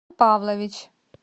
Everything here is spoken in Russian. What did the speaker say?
павлович